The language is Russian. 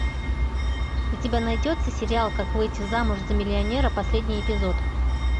у тебя найдется сериал как выйти замуж за миллионера последний эпизод